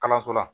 Kalanso la